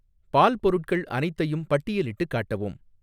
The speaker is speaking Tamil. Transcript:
பால் பொருட்கள் அனைத்தையும் பட்டியலிட்டுக் காட்டவும்